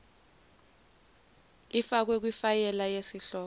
ifakwe kifayela yesihloko